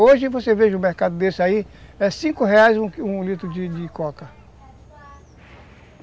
Hoje você veja o mercado desse aí, é cinco reais um litro de de coca.